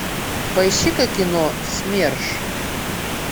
поищи ка кино смерш